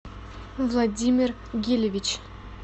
владимир гилевич